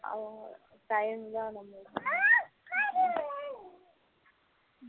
அவங்க time தான் நம்மளுக்கு